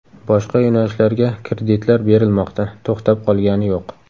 Boshqa yo‘nalishlarga kreditlar berilmoqda, to‘xtab qolgani yo‘q.